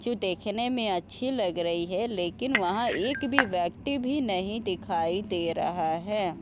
जो देखने में अच्छी लग रही है लकिन वहाँ एक भी व्यक्ति भी नहीं दिखाई दे रहा है।